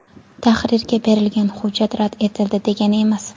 Tahrirga berilgan hujjat rad etildi degani emas.